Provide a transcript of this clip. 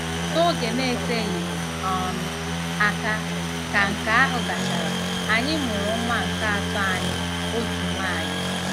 N'oge na-eteghị um aka ka nke ahụ gachara, anyị mụrụ nwa nke atọ anyị, otu nwanyị.